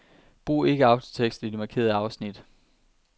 Brug ikke autotekst i de markerede afsnit.